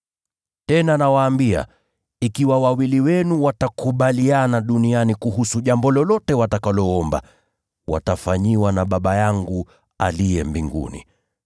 “Tena nawaambia, ikiwa wawili wenu watakubaliana duniani kuhusu jambo lolote watakaloomba, watafanyiwa na Baba yangu aliye mbinguni.